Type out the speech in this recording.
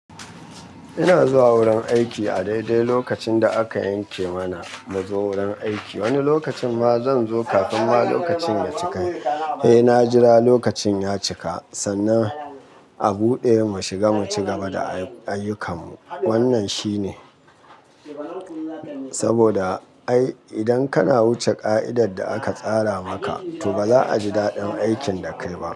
Ina zuwa wurin aiki a daidai lokacin da aka yanke mana mu zo wurin aiki. Wani lokacin ma zan zo kafin ma lokacin ya cika. Eh, na jira lokacin ya cika sannan a buɗe mu shiga mu ci gaba da ayyukan mu. Wannan shi ne saboda ai idan kana wuce ƙa'idar da aka tsara maka to ba za a ji daɗin aikin da kai ba.